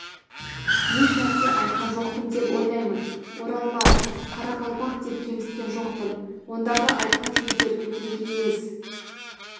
ешнәрсе айтқан жоқпын деп ойлаймын оралман қалақалпақ деп кемсіткен жоқпын ондағы айтқан сөздерді менікі емес